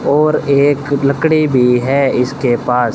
और एक लकड़ी भी है इसके पास।